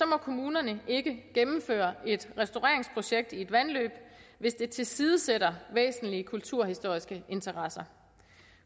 må kommunerne ikke gennemføre et restaureringsprojekt i et vandløb hvis det tilsidesætter væsentlige kulturhistoriske interesser